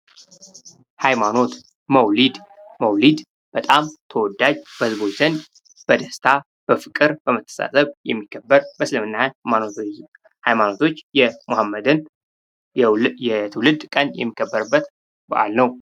ሀይማኖት። መውሊድ። መውሊድ በጣም ተወዳጅ በህዝቦች ዘንድ በደስታ፣ በፍቅር ፣በመተሳሰብ የሚከበር በእስልምና ሀይማኖቶች የመሐመድን የትውልድ ቀን የሚከበርበት በአል ነው።